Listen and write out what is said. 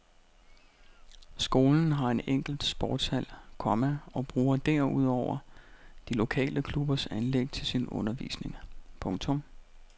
Skolen har en enkelt sportshal, komma og bruger derudover de lokale klubbers anlæg til sin undervisning. punktum